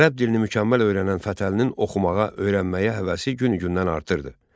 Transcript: Ərəb dilini mükəmməl öyrənən Fətəlinin oxumağa, öyrənməyə həvəsi günü-gündən artırdı.